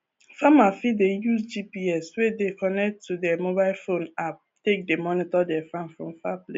farmers fit dey use gps wey dey connected to their mobile phone app take dey monitor their farm from far place